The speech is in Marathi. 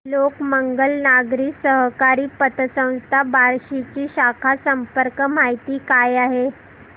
लोकमंगल नागरी सहकारी पतसंस्था बार्शी ची शाखा संपर्क माहिती काय आहे